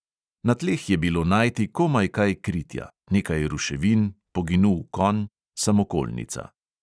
Na tleh je bilo najti komaj kaj kritja: nekaj ruševin, poginul konj, samokolnica.